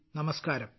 നമസ്കാരം